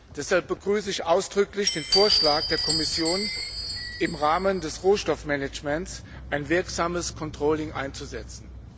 Deshalb begrüße ich ausdrücklich den Vorschlag der Kommission, im Rahmen des Rohstoffmanagements ein wirksames Controlling einzusetzen.